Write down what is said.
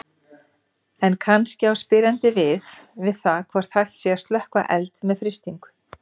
En kannski á spyrjandi við það hvort hægt sé að slökkva eld með frystingu.